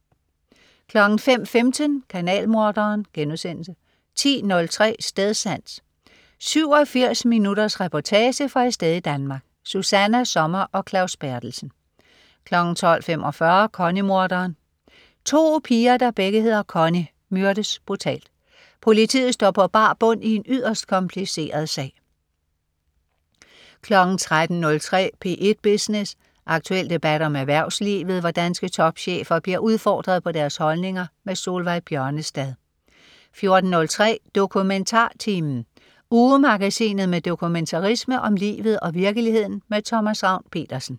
05.15 Kanalmorderen* 10.03 Stedsans. 87 minutters reportage fra et sted i Danmark. Susanna Sommer og Claus Berthelsen 12.45 Connie-morderen. To piger, der begge hedder Connie, myrdes brutalt. Politiet står på bar bund i en yderst kompliceret sag 13.03 P1 Business. Aktuel debat om erhvervslivet, hvor danske topchefer bliver udfordret på deres holdninger. Solveig Bjørnestad 14.03 DokumentarTimen. Ugemagasinet med dokumentarisme om livet og virkeligheden. Thomas Ravn-Pedersen